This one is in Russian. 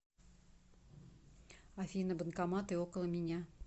афина банкоматы около меня